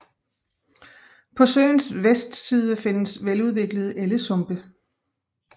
På søens vestside findes veludviklede ellesumpe